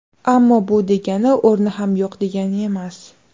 Ammo bu degani o‘rni ham yo‘q degani emas.